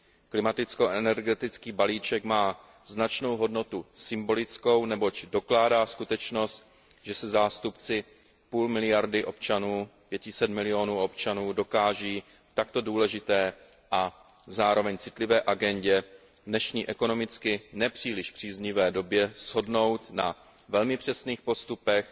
Klimaticko energetický balíček má značnou hodnotu symbolickou, neboť dokládá skutečnost, že se zástupci půl miliardy občanů, 500 milionů občanů, dokáží v takto důležité a zároveň citlivé agendě v dnešní ekonomicky ne příliš příznivé době shodnout na velmi přesných postupech,